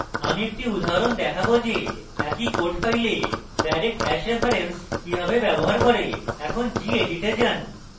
আমি একটি উদাহরণ দেখাবো যে একই code file direct hash reference কিভাবে ব্যবহার করে এখন gedit এ যান